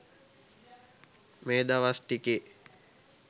මේදවස් ටිකේ